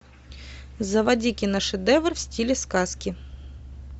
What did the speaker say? заводи киношедевр в стиле сказки